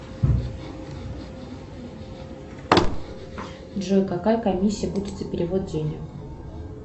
джой какая комиссия будет за перевод денег